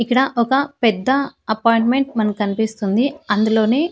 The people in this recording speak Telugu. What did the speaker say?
ఇక్కడ ఒక పెద్ద అపాయింట్మెంట్ మనకు కనిపిస్తుంది అందులోని.